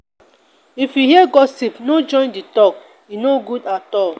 if you hear gossip no join the talk; e no good at all.